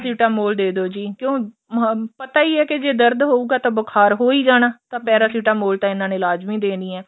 paracetamol ਦੇਦੋ ਜੀ ਕਿਉਂ ਪਤਾ ਈ ਏ ਦਰਦ ਹੋਉਗਾ ਤਾਂ ਬੁਖਾਰ ਹੋ ਹੀ ਜਾਣਾ ਤਾਂ paracetamol ਇਹਨਾ ਨੇ ਲਾਜਮੀ ਦੇਣੀ ਏ